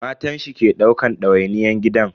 Matan shi ke daukan dawainiyyan gidan.